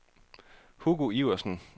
Hugo Iversen